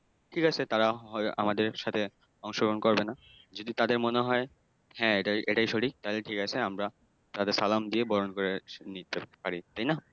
ঠিক আছে তারা হয় আমাদের সাথে অংশগ্রহণ করবে না, যদি তাদের মনে হয় হ্যাঁ এটাই সঠিক তাহলে ঠিক আছে আমরা তাদের সালাম দিয়ে বরণ করে নিতে পারি। তাই না?